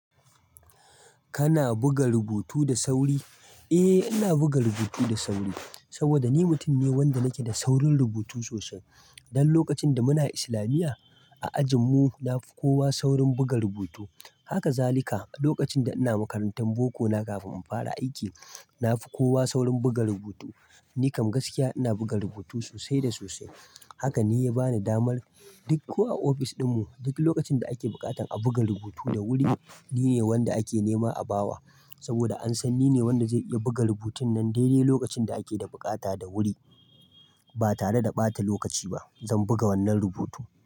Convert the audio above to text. Kana buga rubutu da sauri? Eh ina buga rubutu da sauri saboda ni mutum ne wanda nake da saurin rubutu sosai. Dan lokacin da muna islamiyya a ajin mu na fi kowa saurin buga rubutu. Haka zalika lokacin da ina makarantar boko na kafin in fara aiki, na fi kowa saurin buga rubutu. Ni kam gaskiya ina buga rubutu sosai da sosai. Haka ne ya bani damar duk ko a ofis ɗin mu duk lokacin da ake buƙatan a buga rubutu da wuri, ni ne wanda ake nema a bawa. Saboda an san ni ne wanda zai iya buga rubutun nan daidai lokacin da ake da bukata da wuri. Ba tare da ɓata lokaci ba, zan buga wannan rubutu.